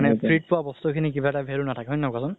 free ত পোৱা বস্তুখিনিৰ কিবা এটা value নাথাকে কুৱাচোন